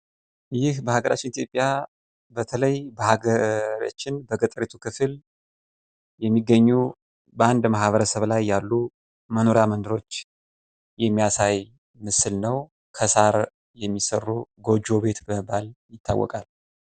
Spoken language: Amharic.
ይህ በሀገራችን ኢትዮጵያ በተለይ በሀገራችን በገጠሪቱ ክፍል የሚገኙ በአንድ ማህበረሰብ ላይ ያሉ መኖሪያ መንደሮች የሚያሳይ ምስል ነው፤ ከሳር የሚሰሩ ጎጆ ቤት በመባል ይታወቃሉ ።